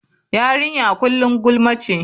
Yarinya kullum gulma ce.